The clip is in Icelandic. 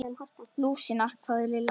Lúsina? hváði Lilla.